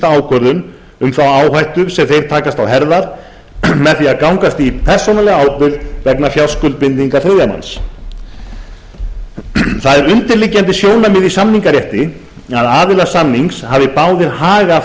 ákvörðun um þá áhættu sem þeir takast á herðar með því að gangast í persónulega ábyrgð vegna fjárskuldbindinga þriðja manns það er undirliggjandi sjónarmið í samningarétti að aðilar samnings hafi báðir hag af